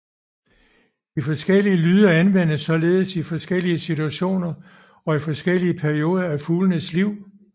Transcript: De forskellige lyde anvendes således i forskellige situationer og i forskellige perioder i fuglens liv